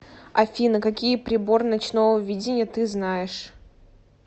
афина какие прибор ночного видения ты знаешь